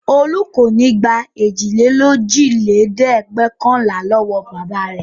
Olú kò ní gbà èjìlélójìlẹ́ẹ̀dẹ́gbẹ̀ọ̀kànlá lọ́wọ́ bàbá rẹ̀.